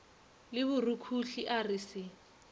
le borukhuhli a re se